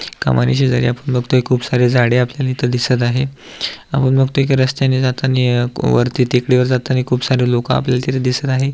एक कमानी शेजारी आपण बघतोय खूप सारी झाडे आपल्याला इथे दिसत आहे आपण बघतोय की रस्त्यानी जाताणी वरती टेकडीवर जाताणी खूप सारी लोक आपल्याला तिथ दिसत आहे.